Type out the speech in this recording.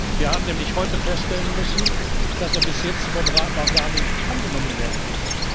Wir haben nämlich heute feststellen müssen, dass er bis jetzt vom Rat noch gar nicht angenommen worden